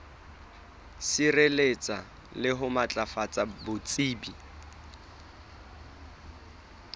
sireletsa le ho matlafatsa botsebi